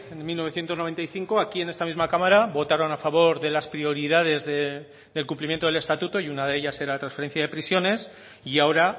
en mil novecientos noventa y cinco aquí en esta misma cámara votaron a favor de las prioridades del cumplimiento del estatuto y una de ellas era la transferencia de prisiones y ahora